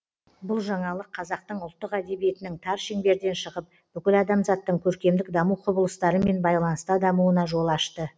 бұл жаңалық қазақтың ұлттық әдебиетінің тар шеңберден шығып бүкіл адамзаттың көркемдік даму құбылыстарымен байланыста дамуына жол ашты